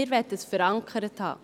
Wir möchten dies verankert haben.